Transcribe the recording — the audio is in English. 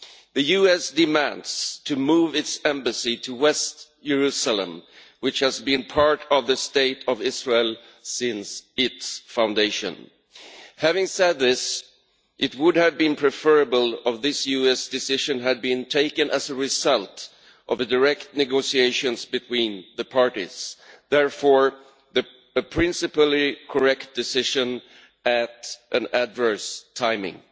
The US demands to move its embassy to West Jerusalem, which has been part of the State of Israel since its foundation. Having said this, it would have been preferable if this US decision had been taken as a result of direct negotiations between the parties, so it is therefore a correct decision in principle but with adverse timing.